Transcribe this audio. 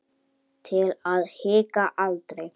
Til að hika aldrei.